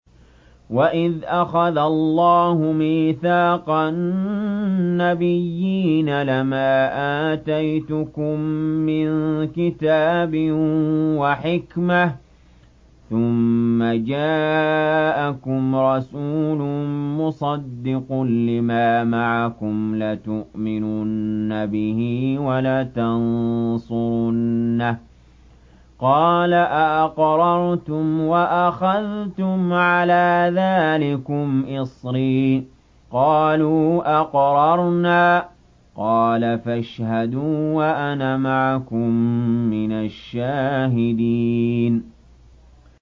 وَإِذْ أَخَذَ اللَّهُ مِيثَاقَ النَّبِيِّينَ لَمَا آتَيْتُكُم مِّن كِتَابٍ وَحِكْمَةٍ ثُمَّ جَاءَكُمْ رَسُولٌ مُّصَدِّقٌ لِّمَا مَعَكُمْ لَتُؤْمِنُنَّ بِهِ وَلَتَنصُرُنَّهُ ۚ قَالَ أَأَقْرَرْتُمْ وَأَخَذْتُمْ عَلَىٰ ذَٰلِكُمْ إِصْرِي ۖ قَالُوا أَقْرَرْنَا ۚ قَالَ فَاشْهَدُوا وَأَنَا مَعَكُم مِّنَ الشَّاهِدِينَ